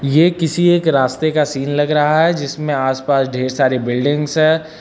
ये किसी एक रास्ते का सीन लग रहा हैं जिसमे आस पास ढेर सारे बिल्डिंग्स है।